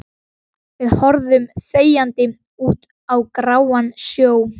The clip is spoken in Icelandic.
Við horfum þegjandi út á gráan sjó.